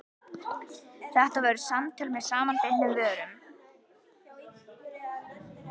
Þetta voru samtöl með samanbitnum vörum.